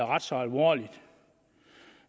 ret så alvorligt